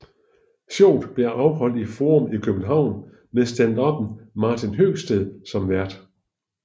Showet blev afholdt i Forum i København med standupperen Martin Høgsted som vært